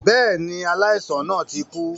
Bẹ́ẹ̀ni, aláìsàn náà ti kú